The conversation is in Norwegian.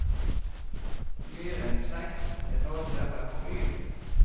Mer enn seks etasjer er for mye.